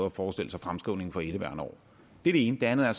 at forestille sig fremskrivningen for indeværende år det er det ene det andet er